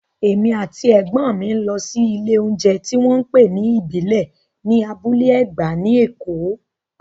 Èmi àti Ẹ̀gbọ́n mi lọ sí ilé oúnjẹ tí wọ́n ń pè ní ìbílẹ̀ ní Abúlé Ẹ̀gbá ní Èkó